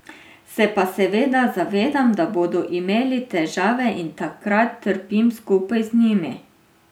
Se pa seveda zavedam, da bodo imeli težave, in takrat trpim skupaj z njimi.